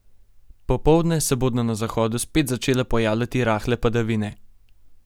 Popoldne se bodo na zahodu spet začele pojavljati rahle padavine.